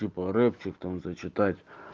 типо рэпчик там за читать